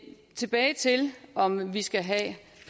tilbage til om man skal have